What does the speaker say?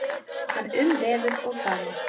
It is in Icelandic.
Hann umvefur og faðmar.